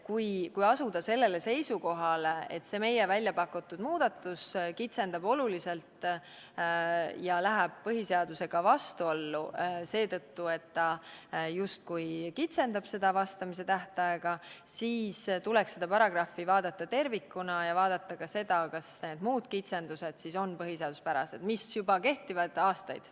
Kui asuda sellele seisukohale, et meie pakutud muudatus oluliselt kitsendab ja läheb ka põhiseadusega vastuollu seetõttu, et ta justkui kitsendab vastamise tähtaega, siis tuleks seda paragrahvi vaadata tervikuna ja vaadata ka seda, kas need muud kitsendused, mis kehtivad juba aastaid, on põhiseaduspärased.